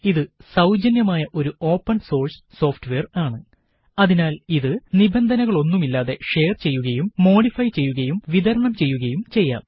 ഇത് സൌജന്യമായ ഒരു ഓപ്പണ് സോഴ്സ് സോഫ്റ്റ്വെയര് ആണ് അതിനാല് ഇത് നിബന്ധനകളൊന്നുമില്ലാതെ ഷെയര് ചെയ്യുകയും മോഡിഫൈ ചെയ്യുകയും വിതരണം ചെയ്യുകയും ചെയ്യാം